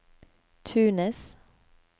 Tunis